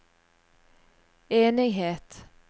enighet